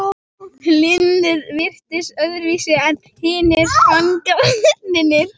Hlynur virtist öðruvísi en hinir fangaverðirnir.